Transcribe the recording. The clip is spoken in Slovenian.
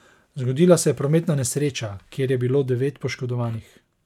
Zgodila se je prometna nesreča, kjer je bilo devet poškodovanih.